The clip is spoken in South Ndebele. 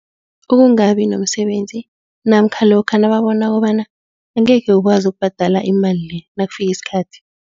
Ukungabi nomsebenzi namkha lokha nababona kobana angeke ukwazi ukubhadala imali le nakufika isikhathi.